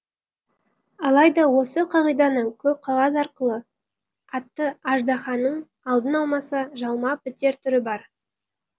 алайда осы қағиданың көк қағаз атты аждаханың алдын алмаса жалмап бітер түрі бар